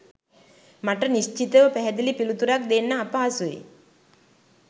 මට නිශ්චිතව පැහැදිලි පිළිතුරක් දෙන්න අපහසුයි